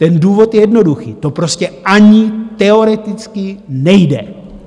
Ten důvod je jednoduchý - to prostě ani teoreticky nejde.